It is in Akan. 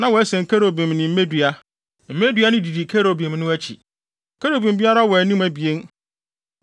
na wɔasen kerubim ne mmedua. Mmedua no didi kerubim no akyi. Kerubim biara wɔ anim abien.